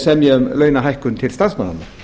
semja um launahækkun til starfsmannanna